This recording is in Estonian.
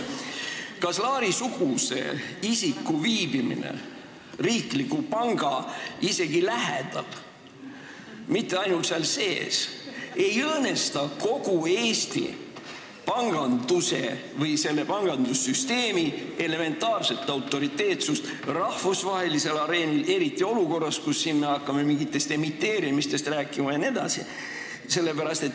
Kas Laari-suguse isiku viibimine isegi riikliku panga lähedal – mitte ainult selle sees – ei õõnesta kogu Eesti panganduse, meie pangandussüsteemi elementaarset autoriteetsust rahvusvahelisel areenil, eriti olukorras, kus me hakkame rääkima mingitest emiteerimistest jne?